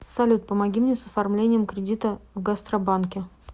салют помоги мне с оформлением кредита в гастробанке